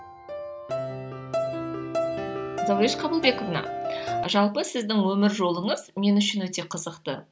зауреш қабылбековна жалпы сіздің өмір жолыңыз мен үшін өте қызықты